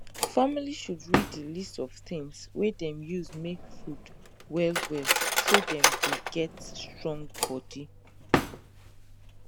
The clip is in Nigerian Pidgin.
family should read the list of things wey dem use make food well well so dem go get strong body